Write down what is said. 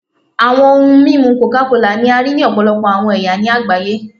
Awọn ohun mimu coca kola ni a rii ni ọpọlọpọ awọn ẹya ni agbaye